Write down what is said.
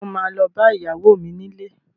Sọ ma lọ bá ìyàwó mi nílé?